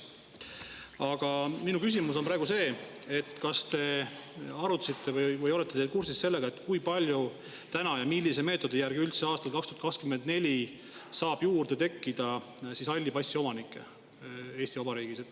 Aga minu küsimus on praegu see: kas arutasite või olete te kursis sellega, kui palju praegu ja millise meetodi järgi üldse aastal 2024 saab juurde tekkida halli passi omanikke Eesti Vabariigis?